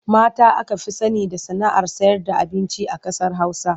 Mata aka fi sani da sana'ar sayarda abinci a ƙasar Hausa.